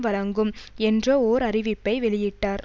வழங்கும் என்ற ஓர் அறிவிப்பை வெளியிட்டார்